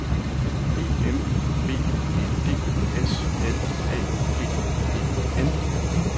E M B E D S L Æ G E N